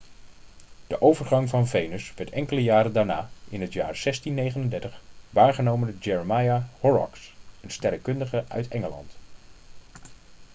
de overgang van venus werd enkele jaren daarna in het jaar 1639 waargenomen door jeremiah horrocks een sterrenkundige uit engeland